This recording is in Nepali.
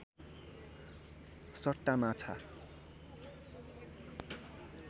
सट्टा माछा